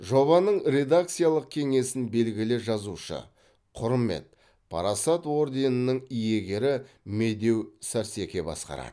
жобаның редакциялық кеңесін белгілі жазушы құрмет парасат ордендерінің иегері медеу сәрсеке басқарады